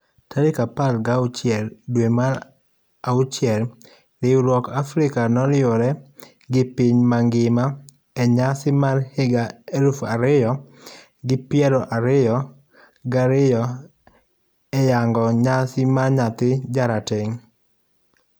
Tarik apar gauchiel dwe mar auchiel riwruok Africa noriwre gi piny ngima enyasi marhiga elufu ariyo gi piero ariyo gariyo eyango nyasi mar nyathi jarateng.